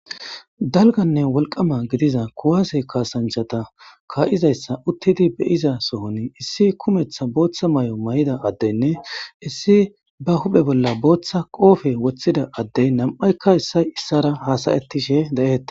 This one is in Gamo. Dalgganne wolqqama gidida kuwase kaassanchchata kaa'izayssa uttidi be'izayssa sohon issi kumeththa booththa mayo mayida addeynne issi ba huphphe bolla booththa qoofe woththida addey nam'aykka issay issara haasa'ttishe de'ettes.